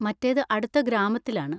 മറ്റേത് അടുത്ത ഗ്രാമത്തിലാണ്.